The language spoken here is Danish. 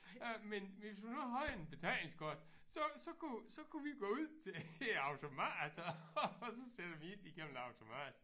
Øh men hvis hun nu havde en betalingskort så så kunne så kunne vi gå ud til æ automat og så sætter vi ind igennem en automat